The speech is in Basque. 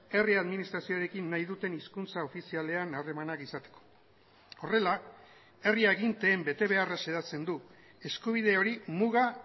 herri administrazioarekin nahi duten hizkuntza ofizialean harremanak izateko horrela herri aginteen betebeharra xedatzen du eskubide hori muga